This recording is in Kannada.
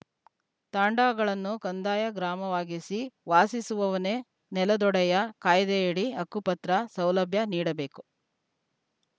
ತಾಂಡಾಗಳನ್ನು ಕಂದಾಯ ಗ್ರಾಮವಾಗಿಸಿ ವಾಸಿಸುವವನೇ ನೆಲದೊಡೆಯ ಕಾಯ್ದೆಯಡಿ ಹಕ್ಕುಪತ್ರ ಸೌಲಭ್ಯ ನೀಡಬೇಕು